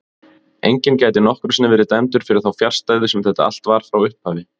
Enginn gæti nokkru sinni verið dæmdur fyrir þá fjarstæðu sem þetta allt var frá upphafi.